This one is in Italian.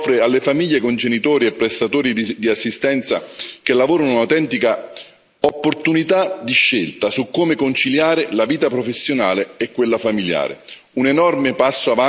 In pratica, si offre alle famiglie con genitori e prestatori di assistenza che lavorano un'autentica opportunità di scelta su come conciliare la vita professionale e quella familiare.